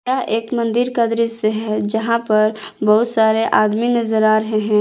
यह एक मंदिर का दृश्य है जहां पर बहुत सारे आदमी नजर आ रहे हैं।